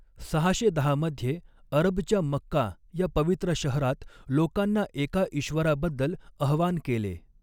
सहाशे दहा मध्ये अरबच्या मक्का या पवित्र शहरात लोकांना एका इश्वराबद्दल अहवान केले.